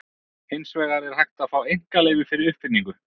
Hins vegar er hægt að fá einkaleyfi fyrir uppfinningu.